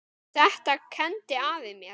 Þetta kenndi afi mér.